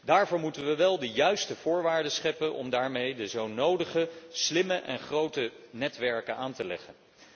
Daarvoor moeten wij wel de juiste voorwaarden scheppen om daarmee de zo nodige slimme en grote netwerken aan te leggen.